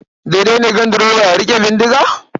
Daidai ne ganduroba ya riƙe bindiga?